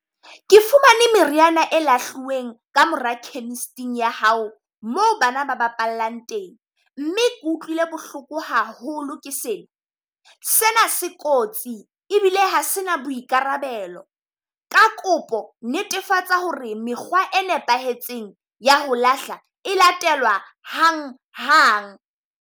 Ke fumane meriana e lahlueng ka mora chemist-ing ya hao moo bana ba bapallang teng, mme ke utlwile bohloko haholo ke sena. Sena se kotsi ebile ha se na boikarabelo. Ka kopo netefatsa ho re mekgwa e nepahetseng ya ho lahla, e latela hang hang.